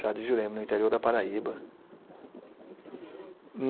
Chá de jurema, no interior da Paraíba.